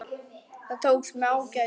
Það tókst með ágætum.